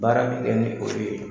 Baara bi kɛ ni olu ye